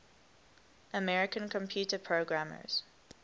american computer programmers